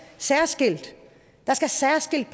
særskilt der skal særskilt